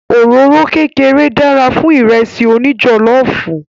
Òróró kékeré dára fún Ìrẹ́sì òní jọ̀lọ́ọ̀fù